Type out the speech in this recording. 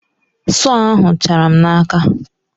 Sọọ ahụ chara m n'aka.